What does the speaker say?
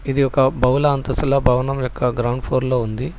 ఇది ఒక బహుళ అంతస్తుల భవనం యొక్క గ్రౌండ్ ఫ్లోర్ లో ఉంది.